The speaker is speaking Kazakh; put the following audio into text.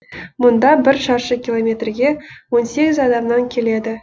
мұнда бір шаршы километрге он сегіз адамнан келеді